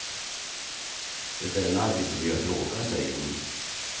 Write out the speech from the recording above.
Det är en arbetsmiljöfråga, säger hon.